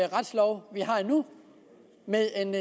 retslov vi har nu med en